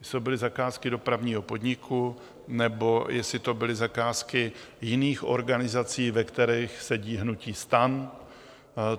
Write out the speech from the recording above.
Jestli to byly zakázky Dopravního podniku, nebo jestli to byly zakázky jiných organizací, v kterých sedí hnutí STAN.